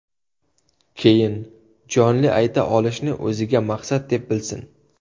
Keyin, jonli ayta olishni o‘ziga maqsad deb bilsin.